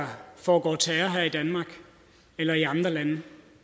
foregår terror her i danmark eller i andre lande